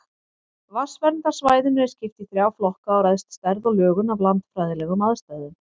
Vatnsverndarsvæðinu er skipt í þrjá flokka og ræðst stærð og lögun af landfræðilegum aðstæðum.